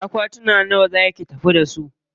Akwatuna nawa za ki tafi da su?